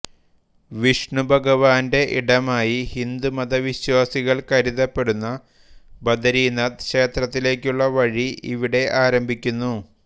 വിഷ്ണുഭഗവാന്റെ ഇടമായി ഹിന്ദുമത വിശ്വാസികൾ കരുതപ്പെടുന്ന ബദരിനാഥ് ക്ഷേത്രത്തിലേക്കുള്ള വഴി ഇവിടെ ആരംഭിക്കുന്നു